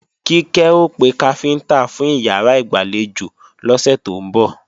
Kíkẹ́ ó pe káfíntá fún ìyàrá ìgbàlejò lọ́sẹ̀ tó ń bọ̀